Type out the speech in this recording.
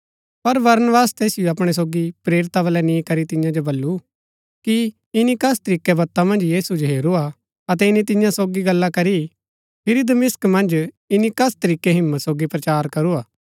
पर बरनबास तैसिओ अपणै सोगी प्रेरिता बलै नि करी तियां जो बल्लू कि ईनी कस तरीकै बत्ता मन्ज प्रभु जो हेरूआ अतै ईनी तियां सोगी गल्ला करी फिरी दमिश्क मन्ज ईनी कस तरीकै हिम्मत सोगी प्रचार करूआ